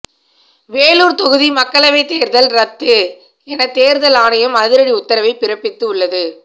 வேலூர் தொகுதி மக்களவை தேர்தல் ரத்து என தேர்தல் ஆணையம் அதிரடி உத்தரவை பிறப்பித்து உள்ளது